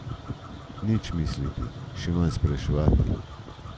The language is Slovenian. Nič misliti, še manj spraševati.